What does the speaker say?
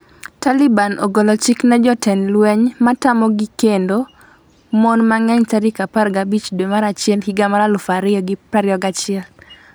Taliban ogolo chik ne jotend lweny matamogi kendo mon mang'eny tarik 15 dwe mar achiel higa mar 2021